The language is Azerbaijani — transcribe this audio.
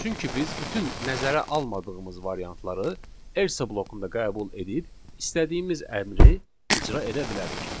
Çünki biz bütün nəzərə almadığımız variantları else blokunda qəbul edib istədiyimiz əmri icra edə bilərik.